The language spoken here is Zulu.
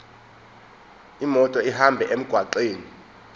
imoto ihambe emgwaqweni